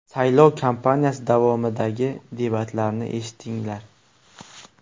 Saylov kampaniyasi davomidagi debatlarni eshitdinglar.